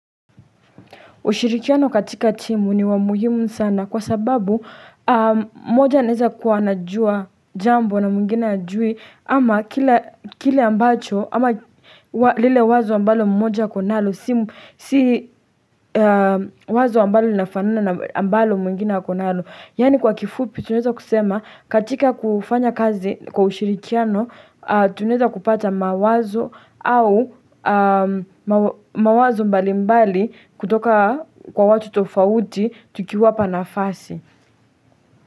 Ushirikiano katika timu ni wa muhimu sana kwa sababu mmoja naeza kuwa anajua jambo na mwingine hajui ama kile ambacho ama lile wazo ambalo mmoja ako nalo si wazo ambalo linafanana na ambalo mwingine ako nalo. Yaani kwa kifupi tunaeza kusema katika kufanya kazi kwa ushirikiano tunaeza kupata mawazo au mawazo mbali mbali kutoka kwa watu tofauti tukiwapa nafasi.